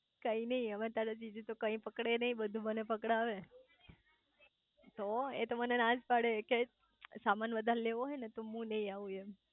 કઈ નાઈ હવે તારા જીજુ તો કઈ પકડે નાઈ બધું મને પકડાવે તો એ મને નાજ પડે કે સમાન વધારે લેવો હોય તો મુ નાઈ આવું એમ